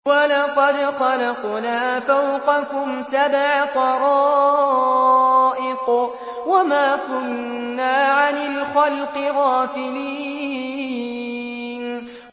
وَلَقَدْ خَلَقْنَا فَوْقَكُمْ سَبْعَ طَرَائِقَ وَمَا كُنَّا عَنِ الْخَلْقِ غَافِلِينَ